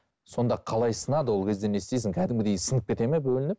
сонда қалай сынады ол ол кезде не істейсің қәдімгідей сынып кетеді ме бөлініп